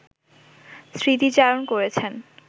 স্মৃতিচারণ করেছেন